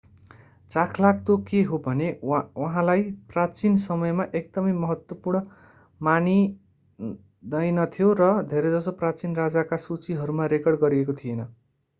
चाखलाग्दो के हो भने उहाँलाई प्राचीन समयमा एकदमै महत्त्वपूर्ण मानिँदैनथ्यो र धेरैजसो प्राचीन राजाका सुचीहरूमा रेकर्ड गरिएको थिएन